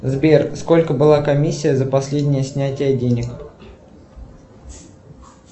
сбер сколько была комиссия за последнее снятие денег